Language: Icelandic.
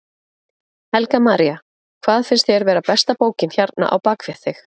Helga María: Hvað finnst þér vera besta bókin hérna á bakvið þig?